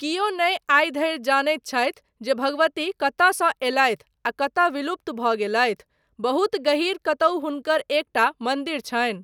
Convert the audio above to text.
कियो नहि आइ धरि जनैत छथि जे भगवती कतयसँ एलथि आ कतय विलुप्त भऽ गेलथि, बहुत गहीर कतहुँ हुनकर एकटा मन्दिर छनि।